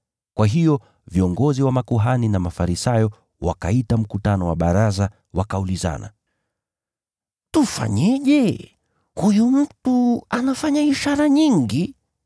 Kwa hiyo viongozi wa makuhani na Mafarisayo wakaita mkutano wa baraza. Wakaulizana, “Tufanyeje? Huyu mtu anafanya ishara nyingi.